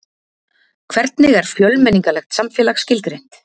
hvernig er fjölmenningarlegt samfélag skilgreint